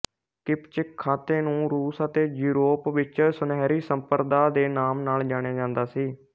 ਕਿਪਚਕ ਖਾਂਤੇ ਨੂੰ ਰੂਸ ਅਤੇ ਯੂਰੋਪ ਵਿੱਚ ਸੁਨਹਿਰੀ ਸੰਪਰਦਾ ਦੇ ਨਾਮ ਨਾਲ ਜਾਣਿਆ ਜਾਂਦਾ ਸੀ